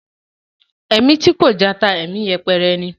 Ẹ̀mí tí kò jata, ẹ̀mí yẹpẹrẹ ni.